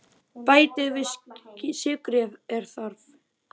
Bætið við sykri ef þarf.